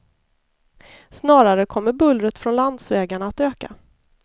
Snarare kommer bullret från landsvägarna att öka.